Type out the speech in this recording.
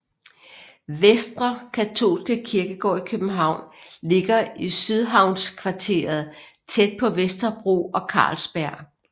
Vestre Katolske Kirkegård i København ligger i sydhavnskvarteret tæt på Vesterbro og Carlsberg